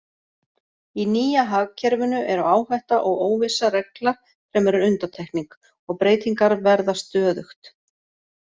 Í nýja hagkerfinu eru áhætta og óvissa regla fremur en undantekning og breytingar verða stöðugt.